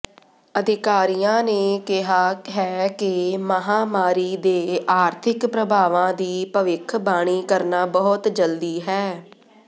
ਅਧਿਕਾਰੀਆਂ ਨੇ ਕਿਹਾ ਹੈ ਕਿ ਮਹਾਂਮਾਰੀ ਦੇ ਆਰਥਿਕ ਪ੍ਰਭਾਵਾਂ ਦੀ ਭਵਿੱਖਬਾਣੀ ਕਰਨਾ ਬਹੁਤ ਜਲਦੀ ਹੈ